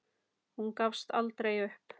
Hún gafst aldrei upp.